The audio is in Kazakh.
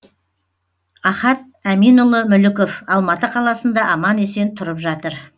ахат әминұлы мүліков алматы қаласында аман есен тұрып жатыр